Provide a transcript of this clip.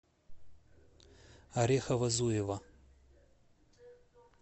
орехово зуево